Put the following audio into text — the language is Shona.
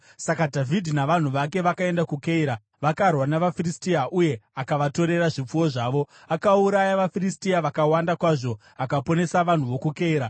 Saka Dhavhidhi navanhu vake vakaenda kuKeira, vakarwa navaFiristia uye akavatorera zvipfuwo zvavo. Akauraya vaFiristia vakawanda kwazvo akaponesa vanhu vokuKeira.